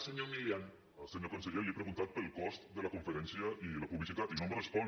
senyor conseller li he preguntat pel cost de la conferència i la publicitat i no em respon